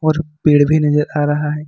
और पेड़ भी नजर आ रहा है।